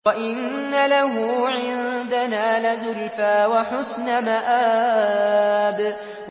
وَإِنَّ لَهُ عِندَنَا لَزُلْفَىٰ وَحُسْنَ مَآبٍ